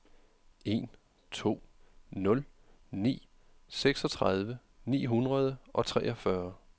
en to nul ni seksogtredive ni hundrede og treogfyrre